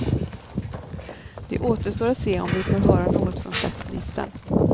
Det återstår att se om vi får höra något från statsministern.